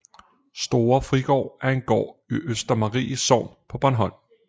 Store Frigård er en gård i Østermarie Sogn på Bornholm